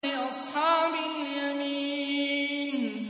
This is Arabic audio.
لِّأَصْحَابِ الْيَمِينِ